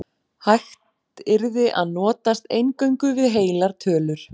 Hægt yrði að notast eingöngu við heilar tölur.